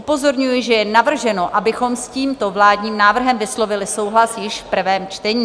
Upozorňuji, že je navrženo, abychom s tímto vládním návrhem vyslovili souhlas již v prvém čtení.